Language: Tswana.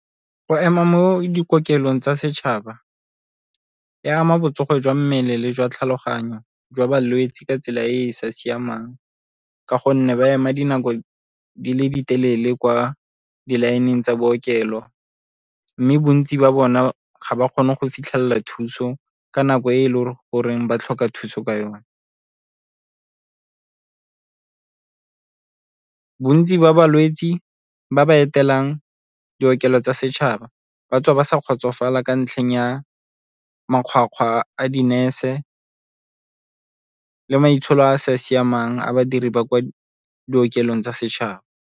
Go ema mo dikokelong tsa setšhaba e ama botsogo jwa mmele le jwa tlhaloganyo jwa balwetse ka tsela e e sa siamang ka gonne ba ema dinako di le di telele kwa di-line-eng tsa bookelo, mme bontsi ba bona ga ba kgone go fitlhelela thuso ka nako e e leng goreng ba tlhoka thuso ka yone. Bontsi ba balwetse ba ba etelang di tsa setšhaba ba tswa ba sa kgotsofala ka ntlheng ya makgwakgwa a di-nurse le maitsholo a a sa siamang a badiri ba kwa di tsa setšhaba.